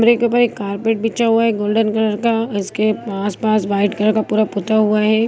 के ऊपर एक कार्पेट बिछा हुआ है गोल्डन कलर का इसके आसपास व्हाइट कलर का पूरा पुता हुआ है।